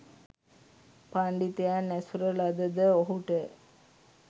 පණ්ඩිතයන් ඇසුර ලද ද ඔහුට